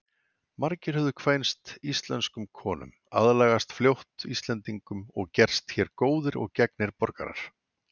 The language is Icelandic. Margir höfðu kvænst íslenskum konum, aðlagast fljótt Íslendingum og gerst hér góðir og gegnir borgarar.